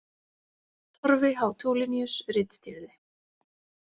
Torfi H Tulinius ritstýrði.